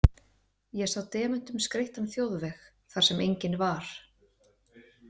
Ég sá demöntum skreyttan þjóðveg þar sem enginn var.